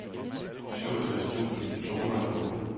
syvogtres tusind to hundrede og otte